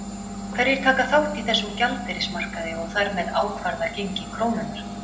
Hverjir taka þátt í þessum gjaldeyrismarkaði og þar með ákvarða gengi krónunnar?